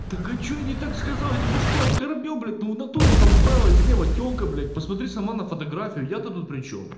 так а что я не так сказал я тебя что оскорбил блядь ну в натуре там справа и слева тёлка блядь посмотри сама на фотографию я то тут причём